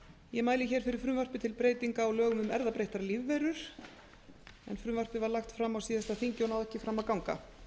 ég mæli hér fyrir frumvarpi til breytinga á lögum um erfðabreyttar lífverur en frumvarpið var lagt fram á síðasta þingi og náði ekki fram að ganga